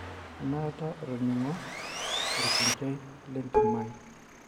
Enaata atoning'o irkochai lentimai